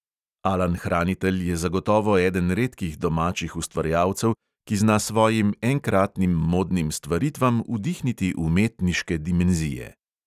Alan hranitelj je zagotovo eden redkih domačih ustvarjalcev, ki zna svojim enkratnim modnim stvaritvam vdihniti umetniške dimenzije.